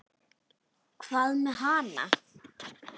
Hvað með hana?